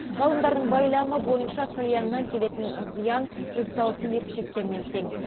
ғалымдардың байламы бойынша кальяннан келетін зиян жүз тал темекі шеккенмен тең